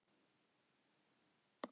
Svanir og endur svamla um lygnan flötinn.